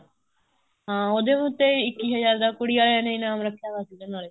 ਹਾਂ ਉਹਦੇ ਉੱਤੇ ਇੱਕੀ ਹਜ਼ਾਰ ਦਾ ਕੁੜੀ ਆਲਿਆਂ ਨੇ ਇਨਾਮ ਰੱਖਿਆ ਹੋਇਆ ਸੀ ਨਾਲੇ